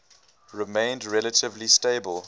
remained relatively stable